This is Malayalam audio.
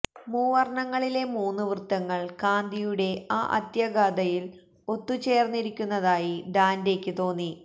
മൂവർണ്ണങ്ങളിലെ മൂന്നു വൃത്തങ്ങൾ കാന്തിയുടെ ആ അത്യഗാധതയിൽ ഒത്തുചേർന്നിരിക്കുന്നതായി ഡാന്റെയ്ക്ക് തോന്നി